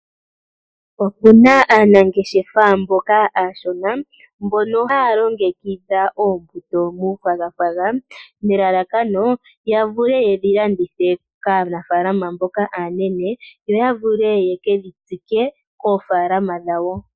Opu na aanangeshefa mboka aashona mbono haya longekidha oombuto muufwagafwaga nelalakano ya vule ye dhi landithe kaanafalama mboka aanene yo ya vule ye kedhi tsike koofalama dhawo.